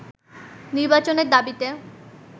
নির্বাচনের দাবিতে